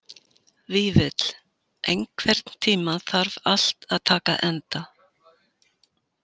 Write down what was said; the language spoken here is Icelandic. Vífill, einhvern tímann þarf allt að taka enda.